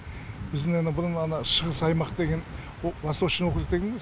біздің ана бұрын ана шығыс аймақ деген восточный округ деген ғой